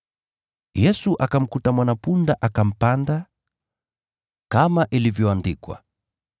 Yesu akamkuta mwana-punda akampanda, kama ilivyoandikwa,